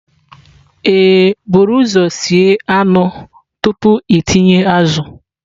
Ee, buru ụzọ sie anụ tupu ịtinye azụ.